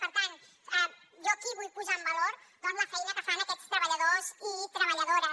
per tant jo aquí vull posar en valor doncs la feina que fan aquests treballadors i treballadores